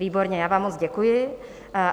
Výborně, já vám moc děkuji.